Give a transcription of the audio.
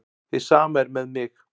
Hið sama er með mig.